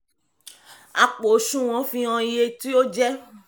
àpò osùwọ̀n fi hàn iye tí ó jẹ́.